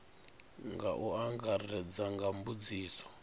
nga u angaredza nga mbudziso